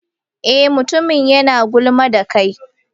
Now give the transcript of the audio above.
Eh, mutumin yana gulma da kai.